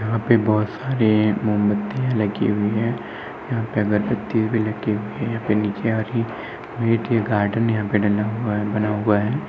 यहां पर बहोत सारे मोमबत्तियां लगी हुई हैं। यहां पे अगरबत्ती भी लगी हुई है। यहां पर नीचे गार्डन यहां पर डला हुआ है बना हुआ है।